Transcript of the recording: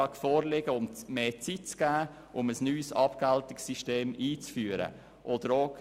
Wir wollen dieser mehr Zeit geben, damit ein neues Entgeltungssystem eingeführt werden kann.